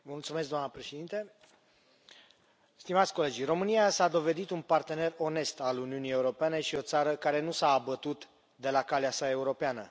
Doamna președintă, stimați colegi, România s a dovedit un partener onest al Uniunii Europene și o țară care nu s a abătut de la calea sa europeană.